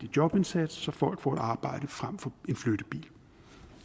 jobindsats så folk får arbejde frem for en flyttebil